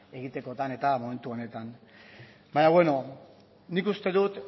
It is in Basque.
egitekotan eta momentu honetan baina beno nik uste dut